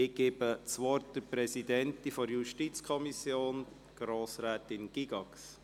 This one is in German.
Ich gebe das Wort der Präsidentin der JuKo, Grossrätin Gygax.